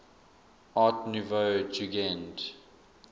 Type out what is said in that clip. art nouveau jugend